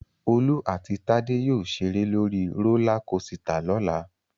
Olú àti Tádé yóò ṣeré lórí rólá kosità lọ́la